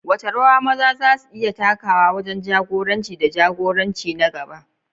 Wace rawa maza za su iya takawa wajen jagoranci da jagoranci na gaba?